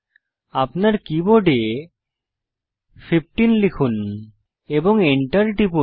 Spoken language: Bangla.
আপনার কীবোর্ড 15 লিখুন এবং enter টিপুন